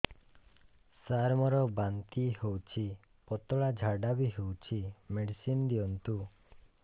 ସାର ମୋର ବାନ୍ତି ହଉଚି ପତଲା ଝାଡା ବି ହଉଚି ମେଡିସିନ ଦିଅନ୍ତୁ